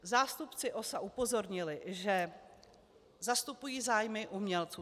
Zástupci OSA upozornili, že zastupují zájmy umělců.